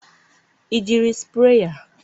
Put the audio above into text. ị jiri sprayer?